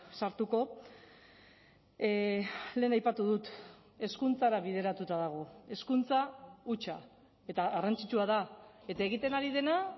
sartuko lehen aipatu dut hezkuntzara bideratuta dago hezkuntza hutsa eta garrantzitsua da eta egiten ari dena